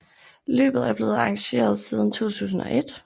Løbet er blevet arrangeret siden 2001